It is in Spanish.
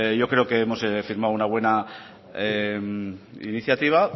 yo creo que hemos firmado una buena iniciativa